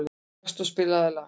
Gaston, spilaðu lag.